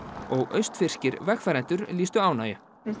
og vegfarendur lýstu ánægju